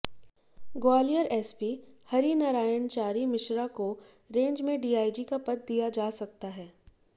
Gwalior SP Harinarayan Chari Mishra को range में DIG का पद दिया जा सकता है